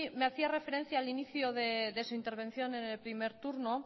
me hacía referencia al inicio de su intervención n el primer turno